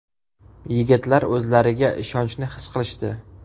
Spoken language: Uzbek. Yigitlar o‘zlariga ishonchni his qilishdi.